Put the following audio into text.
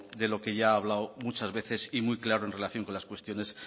de lo que ya ha hablado muchas veces y muy claro en relación con las cuestiones